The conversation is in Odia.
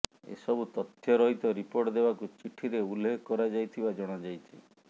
ଏସବୁ ତଥ୍ୟ ରହିତ ରିପୋର୍ଟ ଦେବାକୁ ଚିଠିରେ ଉଲ୍ଲେଖ କରାଯାଇଥିବା ଜଣାଯାଇଛି